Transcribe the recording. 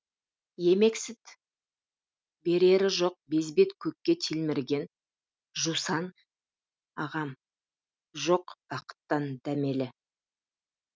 емексіт берері жоқ безбет көкке телміреген жусан ағам жоқ бақыттан дәмелі